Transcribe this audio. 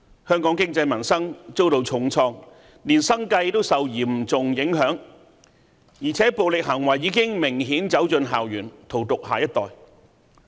香港經濟民生遭到重創，連生計也受嚴重影響，而且暴力行為已明顯走進校園，荼毒下一代。